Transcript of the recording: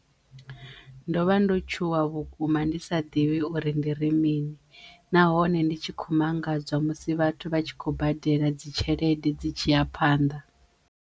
Ndo vha ndo tshuwa vhukuma ndi sa ḓivhi uri ndi ri mini nahone ndi tshi kho mangadzwa musi vhathu vha tshi khou badela dzi tshelede dzi tshi ya phanḓa.